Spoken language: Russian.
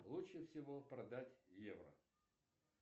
лучше всего продать в евро